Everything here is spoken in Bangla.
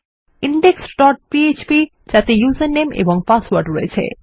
ইনডেক্স ডট পিএচপি যাতে উসের নামে এবং পাসওয়ার্ড রয়েছে